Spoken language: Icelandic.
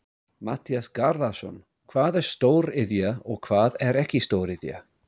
Matthías Garðarsson: Hvað er stóriðja og hvað er ekki stóriðja?